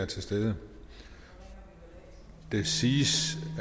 til stede det siges